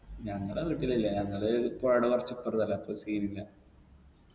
ഞങ്ങട വീട്ടിലില്ല ഞങ്ങള് പൊഴേടെ കൊറച്ചിപ്പറത്തല്ലേ അപ്പൊ scene ഇല്ല